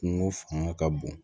Kungo fanga ka bon